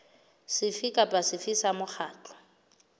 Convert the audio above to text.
sefe kapa sefe sa mokgatlo